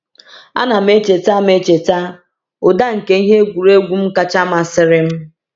A na m echeta m echeta ụda nke ihe egwuregwu m kacha masịrị m.